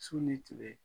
Su ni tile